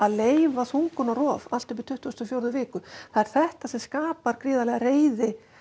leyfa þungunarrof allt upp tuttugustu og fjórðu viku það er þetta sem skapar gríðarlega reiði